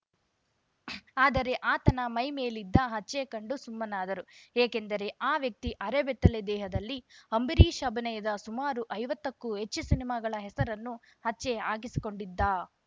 ಆದರೆ ಆತನ ಮೈ ಮೇಲಿದ್ದ ಹಚ್ಚೆ ಕಂಡು ಸುಮ್ಮನಾದರು ಏಕೆಂದರೆ ಆ ವ್ಯಕ್ತಿ ಅರೆಬೆತ್ತಲೆ ದೇಹದಲ್ಲಿ ಅಂಬರೀಷ್‌ ಅಭಿನಯದ ಸುಮಾರು ಐವತ್ತಕ್ಕೂ ಹೆಚ್ಚು ಸಿನಿಮಾಗಳ ಹೆಸರನ್ನು ಹಚ್ಚೆ ಹಾಕಿಸಿಕೊಂಡಿದ್ದ